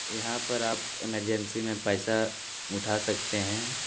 यहाँ पर आप इमरजेंसी में पैसा उठा सकते हैं।